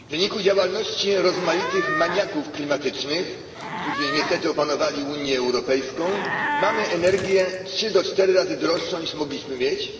W wyniku działalności rozmaitych maniaków klimatycznych, którzy niestety opanowali Unię Europejską, mamy energię trzy do czterech razy droższą, niż moglibyśmy mieć,